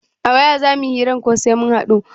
A waya za muyi hiran ko sai mun haɗu?